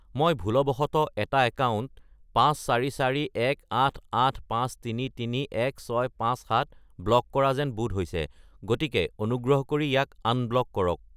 মই ভুলবশতঃ এটা একাউণ্ট 5441885331657 ব্লক কৰা যেন বোধ হৈছে, গতিকে অনুগ্ৰহ কৰি ইয়াক আনব্লক কৰক।